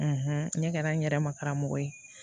ne kɛra n yɛrɛ ma karamɔgɔ ye